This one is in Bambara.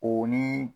O ni